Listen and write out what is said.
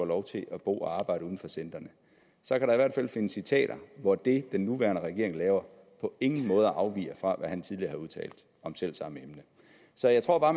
lov til at bo og arbejde uden for centrene så kan der i hvert fald findes citater hvor det den nuværende regering laver på ingen måde afviger fra hvad han tidligere har udtalt om selv samme emne så jeg tror bare